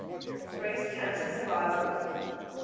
breast cancer survivors